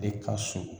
De ka surun